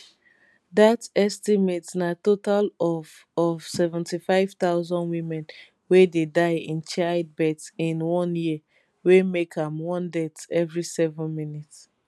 dat estimate na total of of 75000 women wey dey die in childbirth in one year wey make am one death every seven minutes